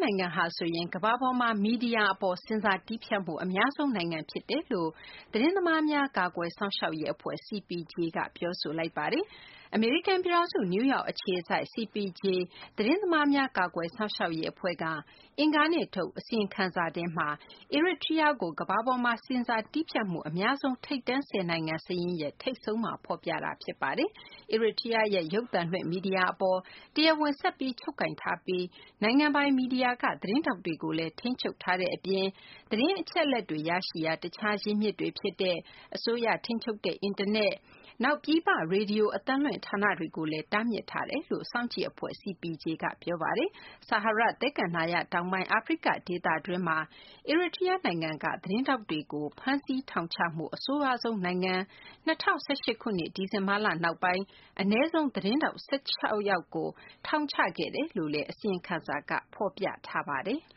နိုင်ငံဟာဆိုရင် ကမ္ဘာပေါ်မှာ မီဒီယာ အပေါ် ဆင်ဆာ တည်းဖြတ်မှု အများဆုံး နိုင်ငံ ဖြစ်တယ်လို့ သတင်းသမား ကာကွယ်စောင့်ရှောက်ရေး အဖွဲ့ CPJ က ပြောဆိုလိုက်ပါတယ်။ အမေရိကန် ပြည်ထောင်စု နယူးယောက် အခြေစိုက် CPJ သတင်းသမားများ ကာကွယ်စောင့်ရှောက်ရေး အဖွဲ့က အင်္ဂါနေ့က ထုတ်တဲ့ အစီရင်ခံစာ ထဲမှာ Eritrea ကို ကမ္ဘာပေါ်မှာ ဆင်ဆာတည်းဖြတ်မှု အများဆုံး ထိပ်တန်း ၁၀ နိုင်ငံ စာရင်းရဲ့ ထိပ်ဆုံးမှာ ဖော်ပြလိုက်တာ ဖြစ်ပါတယ်။ အီရီတြီးယားရဲ့ ရုပ်သံလွှင့် မီဒီယာ အပေါ် တရားဝင် ဆက်ပြီး ချုပ်ကိုင်ထားပြီး နိုင်ငံပိုင် မီဒီယာက သတင်းထောက်တွေကိုလည်း ထိန်းချုပ်ထားတဲ့ အပြင် သတင်းအချက်အလက်တွေ ရရှိရာ တခြား ရင်းမြစ်တွေ ဖြစ်တဲ့ အစိုးရ ထိန်းချုပ်တဲ့ အင်တာနက်၊ နောက် ပြည်ပ ရေဒီယို အသံလွှင့် ဌာနေတွေကိုလည်း တားမြစ်ထားတယ်လို့ စောင့်ကြည့် အဖွဲ့ CPJ က ပြောဆိုထားပါတယ်။ ဆာဟာရ သဲကန္တာရ တောင်ပိုင်း အာဖရိက ဒေသတွင်းမှာ အီရီတြီးယား နိုင်ငံက သတင်းထောက်တွေကို ဖမ်းဆီး ထောင်ချမှုမှာ အဆိုးရွားဆုံး နိုင်ငံ၊ ၂၀၁၈ ခုနှစ် ဒီဇင်ဘာလ နောက်ပိုင်း အနည်းဆုံး သတင်းထောက် ၁၆ ယောက်ကို ထောင်ချခဲ့တယ်လို့လည်း အစီရင်ခံစာက ဖော်ပြထားပါတယ်။